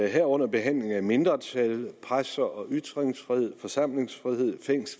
herunder behandlingen af mindretal presse og ytringsfrihed forsamlingsfrihed og